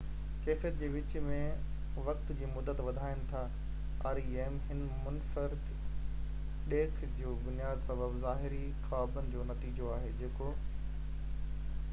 هن منفرد ڏيک جو بنيادي سبب ظاهري خوابن جو نتيجو آهي جيڪو rem ڪيفيت جي وچ ۾ وقت جي مدت وڌائين ٿا